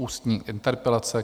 Ústní interpelace